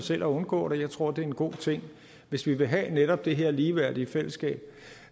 selv at undgå det jeg tror det er en god ting hvis vi vil have netop det her ligeværdige fællesskab